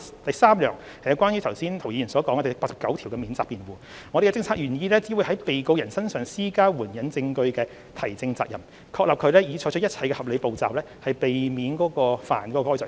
第三，有關涂謹申議員剛才提到的第89條的免責辯護，我們的政策意向是只會在被告人身上施加援引證據的提證責任，確立被告人已採取一切合理步驟，以避免干犯該罪行。